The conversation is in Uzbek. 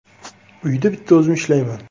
Uyda bitta o‘zim ishlayman.